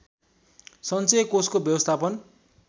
सञ्चय कोषको व्यवस्थापन